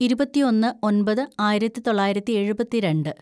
ഇരുപത്തിയൊന്ന് ഒന്‍പത് ആയിരത്തിതൊള്ളായിരത്തി എഴുപത്തിരണ്ട്‌